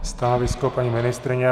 Stanovisko paní ministryně?